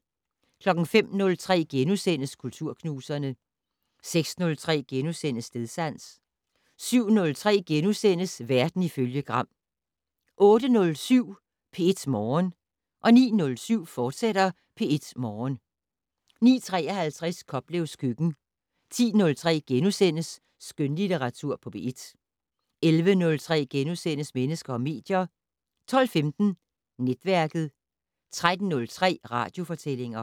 05:03: Kulturknuserne * 06:03: Stedsans * 07:03: Verden ifølge Gram * 08:07: P1 Morgen 09:07: P1 Morgen, fortsat 09:53: Koplevs køkken 10:03: Skønlitteratur på P1 * 11:03: Mennesker og medier * 12:15: Netværket 13:03: Radiofortællinger